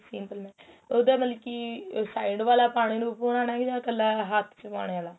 simple magnate ਉਹਦਾ ਮਤਲਬ ਕੀ side ਵਾਲਾ ਪਾਣੇ ਨੂੰ ਪੁਆਣਾ ਜਾਂ ਕੱਲਾ ਹੱਥ ਚ ਪਾਣੇ ਵਾਲਾ